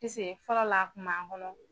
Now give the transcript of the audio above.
fɔlɔ la a kun b'a kɔnɔ.